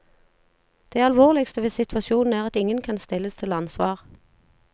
Det alvorligste ved situasjonen er at ingen kan stilles til ansvar.